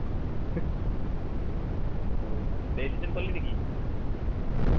ও registration করলি নাকি